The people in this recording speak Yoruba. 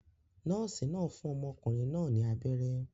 Nọ́ọ̀sì náà fún ọmọkùnrin náà ní abẹ́rẹ́